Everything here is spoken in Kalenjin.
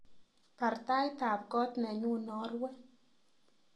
Baar taitab koot nenyu narue